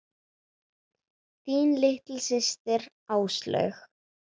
Þín litla systir, Áslaug.